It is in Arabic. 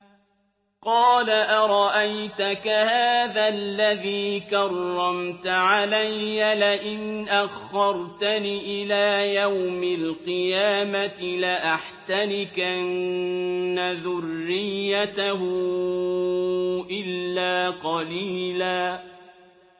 قَالَ أَرَأَيْتَكَ هَٰذَا الَّذِي كَرَّمْتَ عَلَيَّ لَئِنْ أَخَّرْتَنِ إِلَىٰ يَوْمِ الْقِيَامَةِ لَأَحْتَنِكَنَّ ذُرِّيَّتَهُ إِلَّا قَلِيلًا